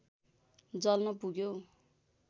जल्न पुग्यौँ